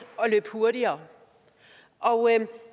løbe hurtigere og